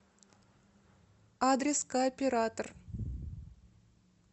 адрес кооператор